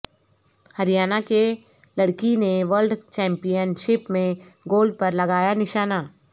ہریانہ کے لڑکی نے ورلڈ چیمپیئن شپ میں گولڈ پر لگایا نشانہ